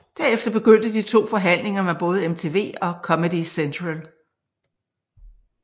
Derefter begyndte de to forhandlinger med både MTV og Comedy Central